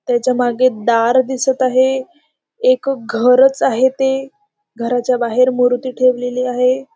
त्याच्यामागे दार दिसत आहे. एक घरच आहे ते. घराच्या बाहेर मूर्ती ठेवलेली आहे.